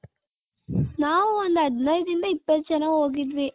ನಾವು ಒಂದ್ ಹದಿನೈದು ರಿಂದ ಇಪ್ಪತು ಜನ ಹೋಗಿದ್ವಿ .